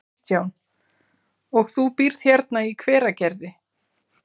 Kristján: Og þú býrð hérna í Hveragerði?